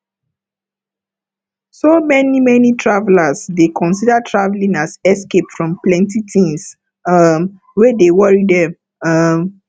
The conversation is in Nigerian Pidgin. so many many travelers dey consider traveling as escape from plenty things um wey dey worry dem um